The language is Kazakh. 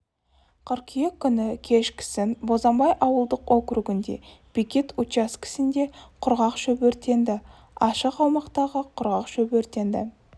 қыркүйек күні кешкісін бозанбай ауылдық округінде бекет учаскесінде құрғақ шөп өртенді ашық аумақтағы құрғақ шөп өртенді